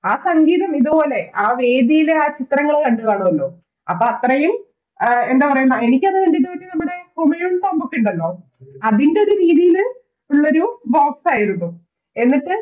ആ സംഗീതം ഇതേ പോലെ ആ വേദിയിലെ ആ ചിത്രങ്ങള് കണ്ടുകാണുവല്ലോ അപ്പത്രയും എ എന്താ പറയാ എനിക്കത് കണ്ടിട്ട് ഒരു നമ്മടെ ഇണ്ടല്ലോ അതിൻറെരു രീതില് ഉള്ളൊരു Box ആയിരുന്നു